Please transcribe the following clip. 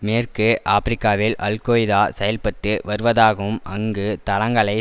மேற்கு ஆப்பிரிக்காவில் அல்கொய்தா செயல்பட்டு வருவதாகவும் அங்கு தளங்களை